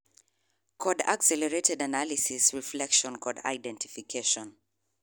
kod accelerated analysis, reflection kod identification